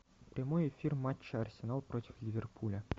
прямой эфир матча арсенал против ливерпуля